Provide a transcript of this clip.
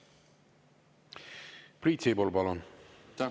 Priit Sibul, palun!